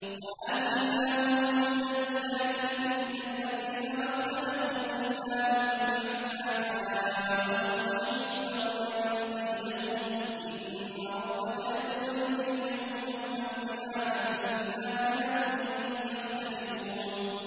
وَآتَيْنَاهُم بَيِّنَاتٍ مِّنَ الْأَمْرِ ۖ فَمَا اخْتَلَفُوا إِلَّا مِن بَعْدِ مَا جَاءَهُمُ الْعِلْمُ بَغْيًا بَيْنَهُمْ ۚ إِنَّ رَبَّكَ يَقْضِي بَيْنَهُمْ يَوْمَ الْقِيَامَةِ فِيمَا كَانُوا فِيهِ يَخْتَلِفُونَ